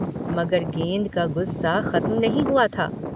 मगर गेंद का गुस्सा खत्म नहीं हुआ था।